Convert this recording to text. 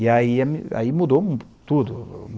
E aí, aí mudou tudo.